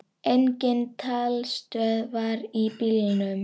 Engin talstöð var í bílnum.